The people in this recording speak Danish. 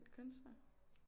Kunstnere